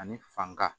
Ani fanba